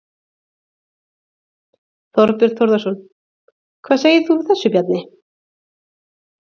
Þorbjörn Þórðarson: Hvað segir þú við þessu, Bjarni?